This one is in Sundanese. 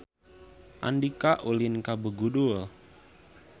Andika ulin ka Begudul